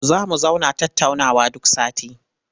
Za mu zauna tattaunawa duk sati.